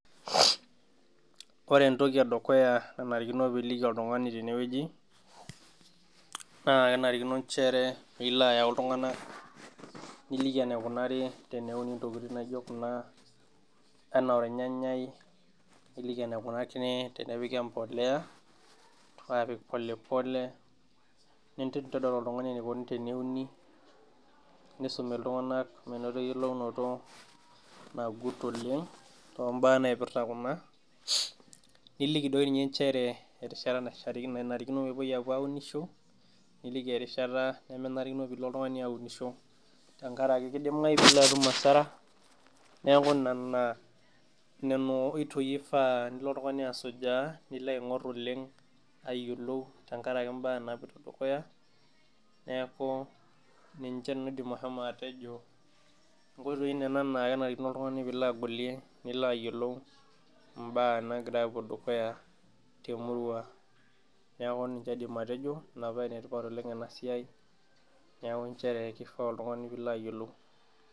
Ore entoki edukuya naanarikino pee iliki oltungani tene wueji naa kenarikino nchere nilo ayau iltunganak, niliki enaikunaeri teneini ntokitin naijo Kuna anaa olnyanyai, niliki enaikunakini teneini empuliya, aapik pole pole nintodol oltungani enikoni teneini, nisum oltungani metayiolo eyiolounoto, nagit oleng too mbaa naipirta Kuna, niliki doi ninye nchere erishata naishaakino pee epuoi aapuo aunisho, niliki erishata, nemenarikino pee ilo oltungani aunisho, tenkaraki kidimayu pee ilo atum asara neeku nena oitoi ifaa nilo oltungani asujaa, nilo aing'or oleng tenkaraki mbaaa, naapoito dukuya neeku, ninche nanu aidim ashomo atejo nkoitoi, Nena naa kenarikino oltungani pee llo agolie nilo ayiolou mbaa naagira apuo dukuya temurua, neeku ninche aidim atejo, Ina paa ene tipat oleng ena siai, neeku nchere kifaa oltungani pee ilo ayiolou.